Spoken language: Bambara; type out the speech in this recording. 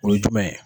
O ye jumɛn ye